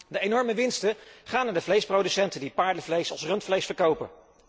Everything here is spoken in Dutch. De enorme winsten gaan naar de vleesproducenten die paardenvlees als rundvlees verkopen.